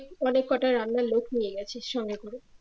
অনেক কটা রান্নার লোক নিয়ে গেছিস সঙ্গে করে